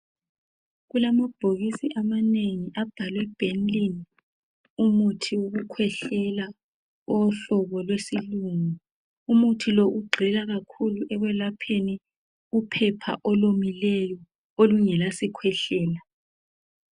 Kulamabhokisi amanengi abhalwe Bennylin. Umuthi wokukhwehlela. Owohlobo lwesilungu. Umuthi lo, ugxila kakhulu, ekwelapheni, uphepha olomileyo. Olungalasikhwehlela.